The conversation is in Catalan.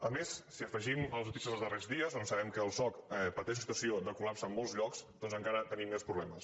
a més si hi afegim les notícies dels darrers dies doncs sabem que el soc pateix una situació de col·lapse en molts llocs doncs encara tenim més problemes